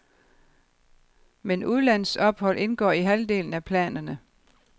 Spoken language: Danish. Men udlandsophold indgår i halvdelen af planerne.